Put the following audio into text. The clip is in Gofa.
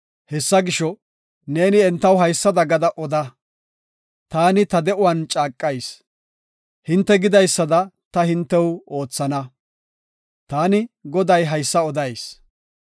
Hessa gisho, neeni entaw haysada gada oda; ‘Taani ta de7uwan caaqayis; hinte gidaysada ta hintew oothana.’ Taani, Goday haysa odayis.